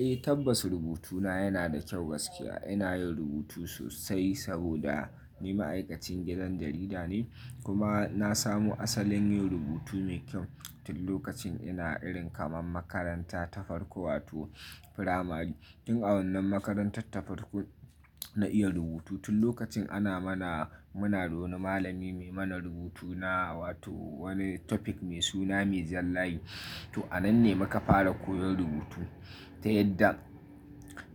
Eh tabbas rubutu na yana da kyau gaskiya. Ina yin rubutu sosai saboda ni ma'aikacin gidan jarida ne, kuma na samu asalin yin rubutu mai kyau tun lokacin ina irin kamar makaranta ta farko wato firamari. Tun a wannan makarantar ta farko na iya rubutu. Tun lokacin ana mana, muna da wani malami mai mana rubutu na wato wani topic mai suna mai jan layi. To a nan ne muka fara koyon rubutu. Ta yadda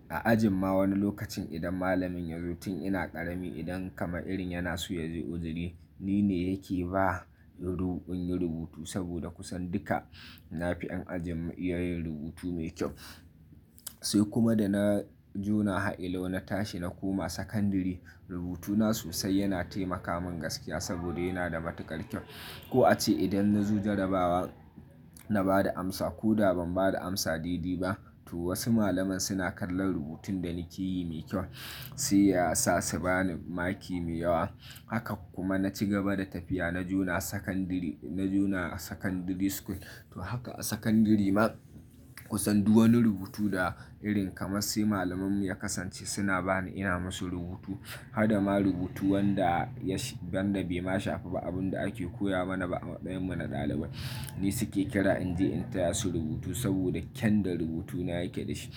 a ajin ma wani lokacin idan malamin ya zo tun ina ƙarami idan kama irin yana so ya je uzu ri, ni ne yake ba rubu, inyi rubutu saboda kusan duka nafi ƴan ajin mu iya yin rubutu mai kyau. Sai kuma da na jona hailau na tashi na koma sakandire, rubutu na sosai yana taimaka min gaskiya saboda yana da matukar kyau. Ko a ce idan na zo jarabawa na ba da amsa ko da ban ba da amsa dede ba, to wasu malaman suna kallon rubutun da nake yi mai kyau, sai ya sa su ba ni maki mai yawa. Haka kuma na ci gaba da tafiya na jona sakandire, na jona secondary school. To haka a sakandire ma kusan duk wani rubutu da irin kama sai malaman mu ya kasance suna ba ni ina masu rubutu. Ta yadda a ajin ma wani lokacin idan malamin ya zo tun ina ƙarami idan kamar irin yana so ya je uzuri, ni ne yake ba rubu, inyi rubutu saboda kusan duka nafi ƴan ajin mu iya yin rubutu mai kyau.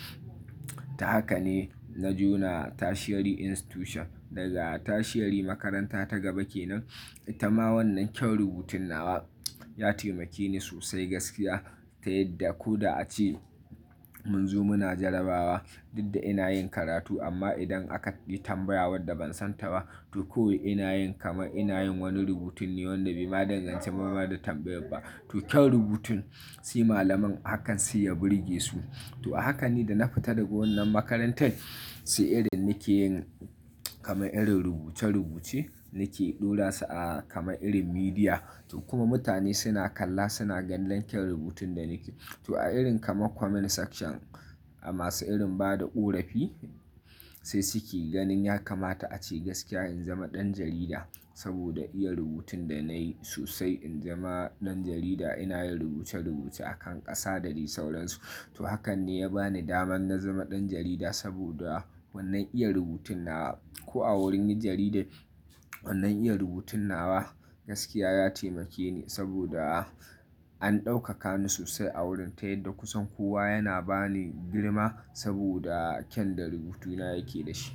Ta haka ne na jona tertiary institution. Daga tertiary makaranta ta gaba kenan, ita ma wannan kyan rubutun nawa ya taimake ni sosai gaskiya. Ta yadda ko da a ce mun zo muna jarabawa, duk da ina yin karatu amma idan aka yi tambaya wadda ban san ta ba, to kawai ina yin kaman ina yin wani rubutin ne wanda bai danganci ba, ba da tambayar ba. To kyan rubutun sai malaman hakan sai ya burge su. To a haka ne da na fita daga wannan makarantar, sai irin nake yin kamar irin rubuce rubuce nake ɗora su a kamar irin media. Hada ma rubutu wanda ya shi, wanda bai ma shafa ba abin da ake koya mana ba a matsayinmu na ɗalibai, ni suke kira in je in taya su rubutu saboda kyan da rubutu na yake da shi. To a irin kama comment section a masu irin ba da ƙorafi, sai suke ganin ya kamata a ce gaskiya in zama ɗan jarida saboda iya rubutun da nayi sosai in zama ɗan jarida ina yin rubuce rubuce a kan ƙasa da dai sauransu. To hakan ne ya ba ni daman na zama ɗan jarida saboda wannan iya rubutun nawa. Ko a wurin yin jaridar wannan iya rubutun nawa gaskiya ya taimake ni saboda an ɗaukaka ni sosai a wurin. Ta yadda kusan kowa yana ba ni girma saboda kyan da rubutu na yake da shi.